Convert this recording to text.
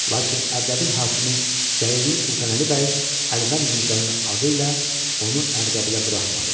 Lakin Ərdəbil hakimi Cəyirli Sultanəli bəy Əlvənd Mirzənin adı ilə onu Ərdəbilə buraxmadı.